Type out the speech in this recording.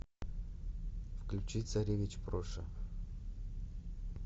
включи царевич проша